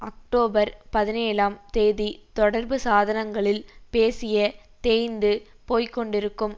October பதினேழாம் தேதி தொடர்புசாதனங்களில் பேசிய தேய்ந்து போய்க்கொண்டிருக்கும்